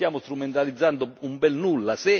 Non stiamo strumentalizzando un bel nulla.